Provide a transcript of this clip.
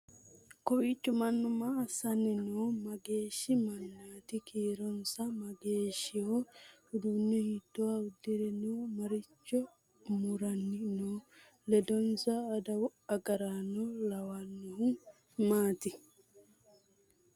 kowiicho mannu maa assanni no mageeshshi mannaati kiironsa mageeshshiho uduunne hiitoha udire no maricho muranni no ledonsa adawu agarano lawannohu maati